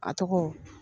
A tɔgɔ